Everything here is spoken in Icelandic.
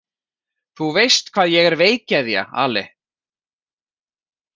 Þú veist hvað ég er veikgeðja, Ale.